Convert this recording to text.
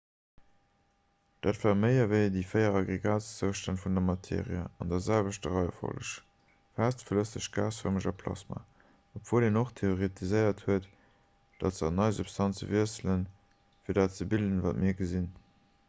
dat war méi ewéi déi 4 aggregatzoustänn vun der materie an der selwechter reiefolleg: fest flësseg gasfërmeg a plasma; obwuel en och theoretiséiert huet datt se an nei substanze wiesselen fir dat ze bilden wat mir gesinn